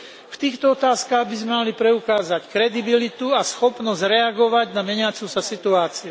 V týchto otázkach by sme mali preukázať kredibilitu a schopnosť reagovať na meniacu sa situáciu.